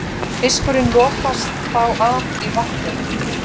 Fiskurinn lokast þá af í vatninu.